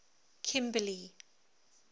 kimberly